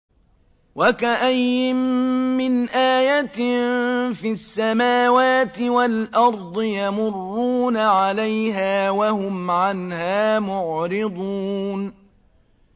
وَكَأَيِّن مِّنْ آيَةٍ فِي السَّمَاوَاتِ وَالْأَرْضِ يَمُرُّونَ عَلَيْهَا وَهُمْ عَنْهَا مُعْرِضُونَ